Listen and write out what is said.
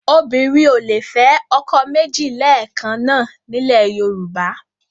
Obìnrin ò lè fẹ́ ọkọ méjì lẹ́ẹ̀kan náà nílẹ̀ Yorùbá